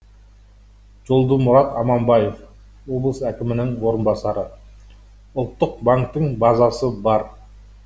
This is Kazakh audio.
жолдымұрат аманбаев облыс әкімінің орынбасары ұлттық банктің базасы бар